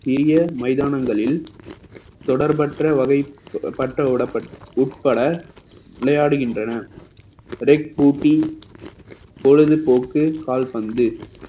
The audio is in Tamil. சிறிய மைதானங்களில் தொடர்பற்ற வகைப்பட்ட வடப்~ உட்பட விளையாடுகின்றன ரெக் பூட்டி பொழுதுபோக்கு கால்பந்து